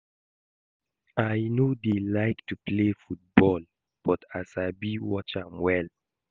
I no dey like to play football but I sabi watch am well